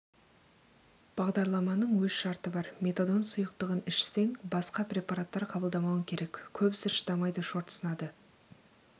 бағдарламаның өз шарты бар метадон сұйықтығын ішсең басқа препараттар қабылдамауың керек көбісі шыдамайды шорт сынады